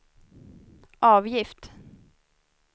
avgift